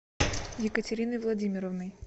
екатериной владимировной